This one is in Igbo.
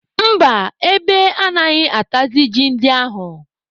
Mba, ebe anaghị atazị ji ndị ahụ.